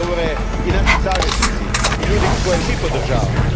Govore i naši saveznici i ljudi koje mi podržavamo.